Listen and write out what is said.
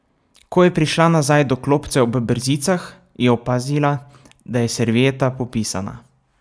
Ko je prišla nazaj do klopce ob brzicah, je opazila, da je servieta popisana.